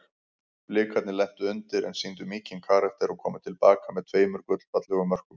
Blikarnir lentu undir en sýndu mikinn karakter og komu til baka með tveimur gullfallegum mörkum.